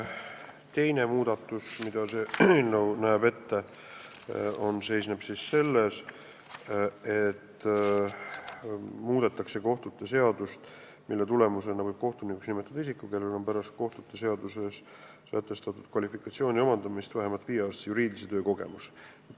Teine muudatus, mida see eelnõu ette näeb, seisneb selles, et muudetakse kohtute seadust, mille tulemusena võib kohtunikuks nimetada isiku, kellel on pärast kohtute seaduses sätestatud kvalifikatsiooni omandamist vähemalt viieaastane juriidilise töö kogemus.